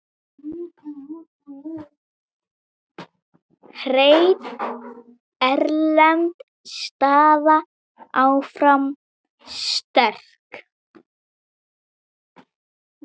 Hrein erlend staða áfram sterk.